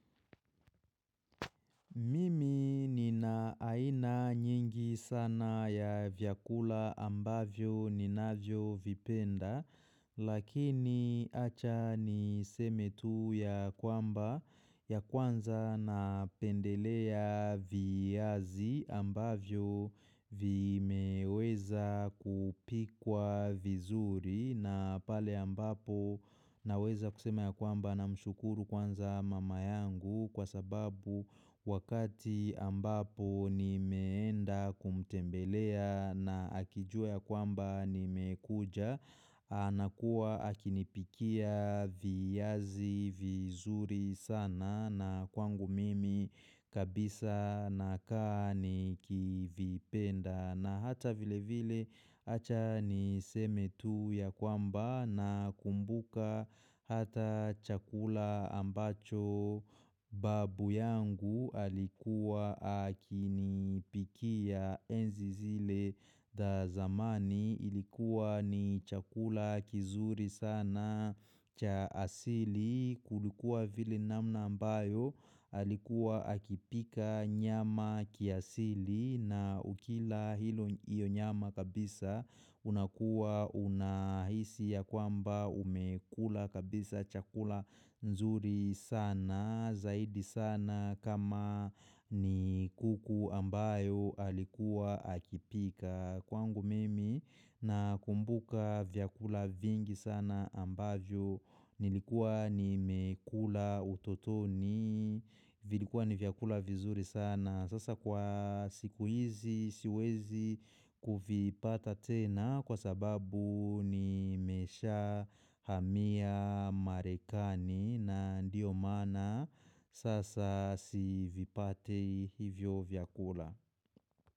Mimi nina aina nyingi sana ya vyakula ambavyo ninavyo vipenda lakini acha niseme tu ya kwamba ya kwanza na pendelea viazi ambavyo vimeweza kupikwa vizuri na pale ambapo naweza kusema ya kwamba namshukuru kwanza mama yangu Kwa sababu wakati ambapo nimeenda kumtembelea na akijua ya kwamba nimekuja anakuwa akinipikia viazi vizuri sana na kwangu mimi kabisa nakaa ni kivipenda na hata vile vile achani seme tu ya kwamba na kumbuka hata chakula ambacho babu yangu alikuwa akinipikia enzi zile za zamani Ilikuwa ni chakula kizuri sana cha asili Kulikuwa vile namna ambayo alikuwa akipika nyama kiasili na ukila hilo iyo nyama kabisa unakuwa unahisi ya kwamba umekula kabisa chakula nzuri sana Zaidi sana kama ni kuku ambayo alikuwa akipika Kwangu mimi nakumbuka vyakula vingi sana ambavyo nilikuwa nimekula utotoni vilikuwa ni vyakula vizuri sana Sasa kwa siku hizi siwezi kuvipata tena kwa sababu nimeshahamia marekani na ndiyo maana sasa sivipati hivyo vyakula.